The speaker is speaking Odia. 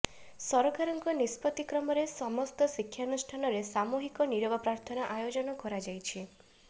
ସରକାରଙ୍କ ନିଷ୍ପତ୍ତି କ୍ରମରେ ସମସ୍ତ ଶିକ୍ଷାନୁଷ୍ଠାନରେ ସାମୁହିକ ନିରବ ପ୍ରାର୍ଥନା ଆୟୋଜନ କରାଯାଇଛି